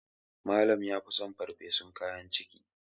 Malam ya fi son farfesun kayan ciki